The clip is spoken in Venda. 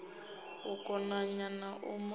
u konanya na u lamukanya